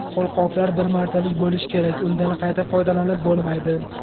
Qo‘lqoplar bir martalik bo‘lishi kerak, undan qayta foydalanib bo‘lmaydi.